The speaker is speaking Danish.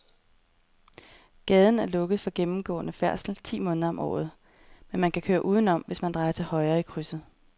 Gaden er lukket for gennemgående færdsel ti måneder om året, men man kan køre udenom, hvis man drejer til højre i krydset.